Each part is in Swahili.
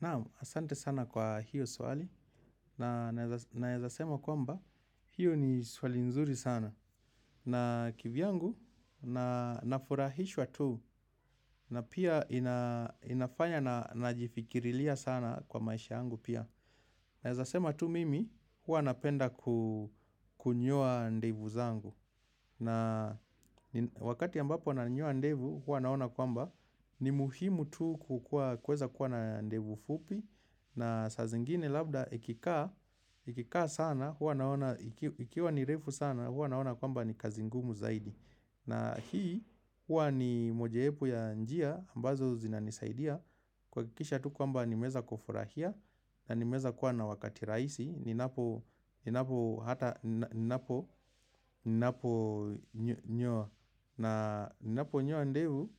Naam, asante sana kwa hiyo swali na naeza sema kwamba hiyo ni swali nzuri sana na kivyangu na nafurahishwa tu na pia inafanya najifikirilia sana kwa maisha yangu pia. Naeza sema tu mimi, huwa napenda kunyoa ndevu zangu. Na wakati ambapo nanyoa ndevu, huwa naona kwamba, ni muhimu tu kuweza kuwa na ndevu fupi. Na sa zingine labda, ikikaa sana, huwa naona, ikiwa ni refu sana, huwa naona kwamba ni kazi ngumu zaidi. Na hii, huwa ni mojawepu ya njia, ambazo zinanisaidia. Kuhakikisha tu kwamba nimeeza kufurahia na nimeeza kuwa na wakati raisi ninapo hata naponyoa na ninaponyoa ndevu,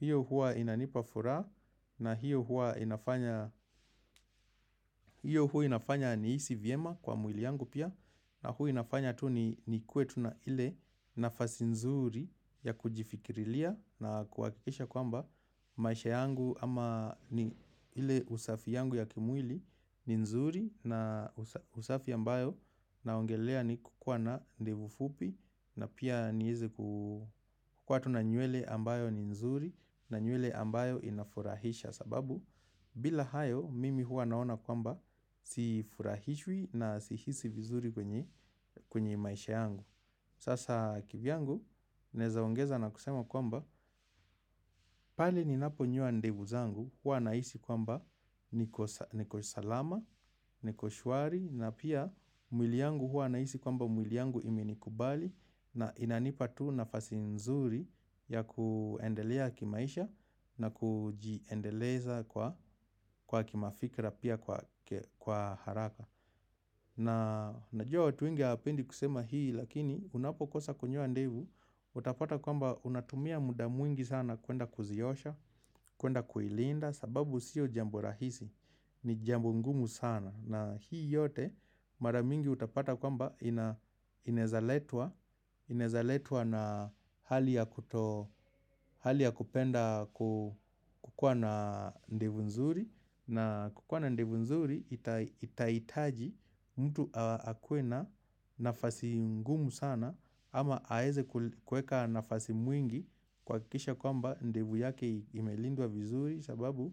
hiyo huwa inanipa furaha. Na hiyo huwa inafanya, hiyo huwa inafanya nihisi vyema kwa mwili yangu pia. Na huwa inafanya tu nikuwe tu na ile nafasi nzuri ya kujifikirilia na kuhakikisha kwamba maisha yangu ama ni ile usafi yangu ya kimwili ni nzuri na usafi ambayo naongelea ni kukua na ndevu fupi na pia nieze kukuwa tu na nywele ambayo ni nzuri na nywele ambayo inafurahisha sababu bila hayo mimi huwa naona kwamba sifurahishwi na sihisi vizuri kwenye maisha yangu. Sasa kivyangu naeza ongeza na kusema kwamba pale ninaponyoa ndevu zangu huwa nahisi kwamba niko salama, niko shwari na pia mwili yangu huwa nahisi kwamba mwili yangu imenikubali na inanipa tu nafasi nzuri ya kuendelea kimaisha na kujiendeleza kwa kimafikra pia kwa haraka. Na najua watu wengi hawapendi kusema hii lakini unapokosa kunyoa ndevu, utapata kwamba unatumia muda mwingi sana kuenda kuziosha, kuenda kuilinda sababu sio jambo rahisi, ni jambo ngumu sana. Na hii yote mara mingi utapata kwamba inaeza letwa na hali ya kupenda kukuwa na ndevu nzuri na kukuwa na ndevu nzuri itahitaji mtu akuwe na nafasi ngumu sana ama aeze kueka nafasi mwingi kuhakikisha kwamba ndevu yake imelindwa vizuri sababu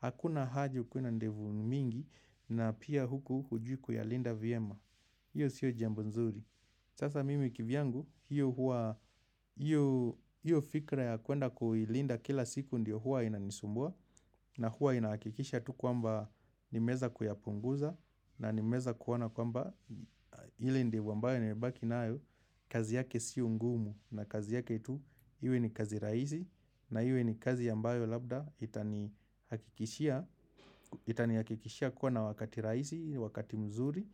hakuna haja ukuwe na ndevu mingi na pia huku hujui kuyalinda vyema hiyo sio jambo nzuri sasa mimi kivyangu hiyo fikra ya kuenda kuilinda kila siku ndio huwa inanisumbua na huwa inahakikisha tu kwamba nimeeza kuyapunguza na nimeeza kuona kwamba ile ndevu ambayo nimebaki nayo kazi yake sio ngumu na kazi yake tu iwe ni kazi rahisi na iwe ni kazi ambayo labda itanihakikishia kuwa na wakati rahisi, wakati mzuri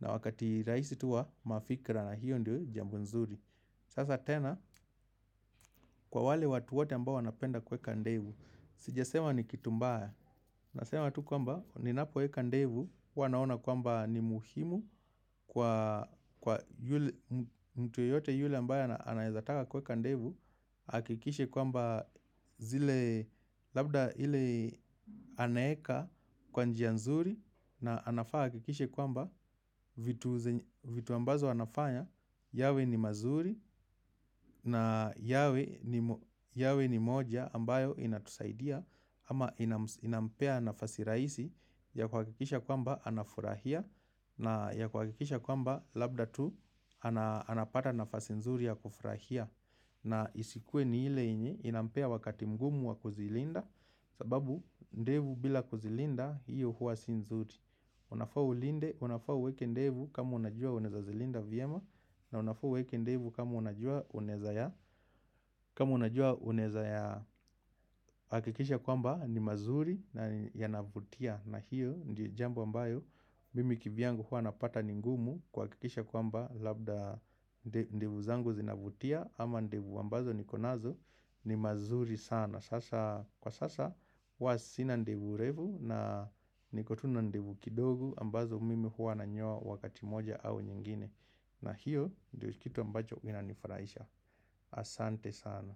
na wakati rahisi tu wa mafikra na hiyo ndio jambo nzuri sasa tena kwa wale watu wote ambao wanapenda kueka ndevu sijasema ni kitu mbaya. Nasema tu kwamba ninapoweka ndevu huwa naona kwamba ni muhimu kwa mtu yeyote yule ambaye anaeza taka kueka ndevu ahakikishe kwamba zile labda ile anaeka kwa njia nzuri. Na anafaa ahakikishe kwamba vitu ambazo anafanya yawe ni mazuri na yawe ni moja ambayo inatusaidia. Ama inampea nafasi rahisi ya kuhakikisha kwamba anafurahia. Na ya kuhakikisha kwamba labda tu anapata nafasi nzuri ya kufurahia. Na isikuwe ni ile yenye, inampea wakati mgumu wa kuzilinda sababu ndevu bila kuzilinda, hiyo huwa si nzuri. Unafaa ulinde, unafaa uweke ndevu kama unajua unaeza zilinda vyema. Na unafaa uweke ndevu kama unajua unaeza ya kama unajua unaeza ya hakikisha kwamba ni mazuri na yanavutia. Na hiyo, ndio jambo ambayo, mimi kivyangu huwa napata ni ngumu. Kuhakikisha kwamba labda ndevu zangu zinavutia ama ndevu amabazo niko nazo ni mazuri sana sasa kwa sasa huwa sina ndevu refu niko tu na ndevu kidogo ambazo mimi huwa nanyoa wakati moja au nyingine na hiyo ndio kitu ambacho inanifurahisha. Asante sana.